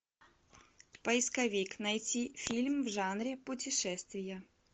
поисковик найти фильм в жанре путешествия